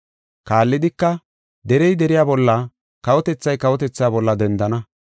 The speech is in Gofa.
Kaallidika, “Derey deriya bolla, kawotethay kawotethaa bolla dendana.